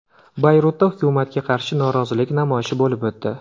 Bayrutda hukumatga qarshi norozilik namoyishi bo‘lib o‘tdi.